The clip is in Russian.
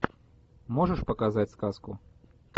можешь показать сказку